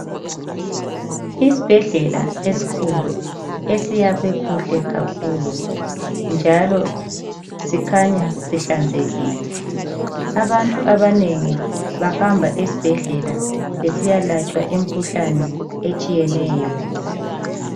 Isibhedlela esikhulu esiyakhwe kuhle kakhulu njalo sikhanya sihlanzekile. Abantu abanengi bahamba esibhedlela besiyalatshwa imkhuhlane etshiyeneyo.